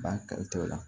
Ba kari t'o la